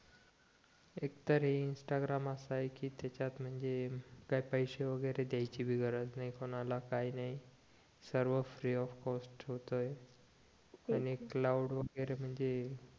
एक तर हे इंस्टाग्राम असं आहे कि त्याच्यात म्हणजे काही पैसे वैगरे द्यायची पण गरज नाही कोणाला काय नाही सर्व फ्री ऑफ कॉस्ट होतंय आणि कॅलाऊड वैगरे म्हणजे